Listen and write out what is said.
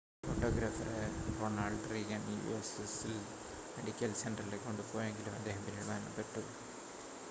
ഫോട്ടോഗ്രാഫറെ Ronald Reagan UCLA medical സെൻ്ററിലേക്ക് കൊണ്ടുപോയെങ്കിലും അദ്ദേഹം പിന്നീട് മരണപ്പെട്ടു